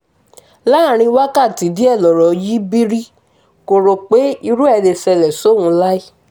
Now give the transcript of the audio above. láàrin wákàtí díẹ̀ lọ̀rọ̀ yí bírí kò rò pé irú ẹ̀ lè ṣẹlẹ̀ sóun láé